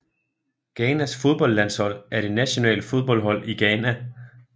Ghanas fodboldlandshold er det nationale fodboldhold i Ghana